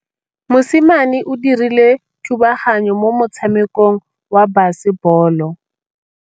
Mosimane o dirile thubaganyô mo motshamekong wa basebôlô.